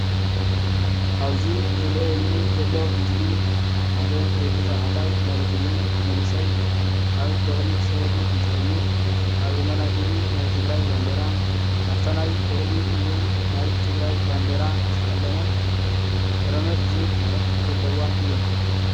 ኣብዚ ዝርአዩኒ ዘለዉ ምስሊ ሓደ ወዲ ተባዕታይ ማለት እውን መንእሰይ ኣብ በቕሊ ሰሪሩ እንትኸይድ ኣብ የማናይ ኢዱ ናይ ትግራይ ባንዲራ ኣብታ ናይ በቕሊ እውን ናይ ትግራይ ባንዲራ ዝተቐለመት ረመፅ ዝብል ፅሑፍ ዘለዋን እዮም፡፡